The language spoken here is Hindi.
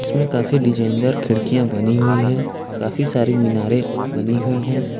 इसमें काफी डिजाइनर खिड़कियां बनी हुई है काफी सारी मीनारें बनी हुई है।